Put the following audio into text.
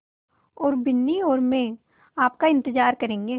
और बिन्नी और मैं आपका इन्तज़ार करेंगे